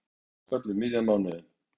Verkfall um miðjan mánuðinn